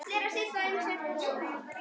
Í bænum var gamalt bíóhús.